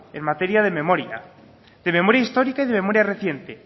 en materia de memoria de memoria histórica y de memoria reciente